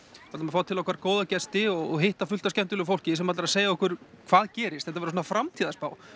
ætlum að fá til okkar góða gesti og hitta fullt af skemmtilegu fólki sem ætlar að segja okkur hvað gerist þetta verður framtíðarspá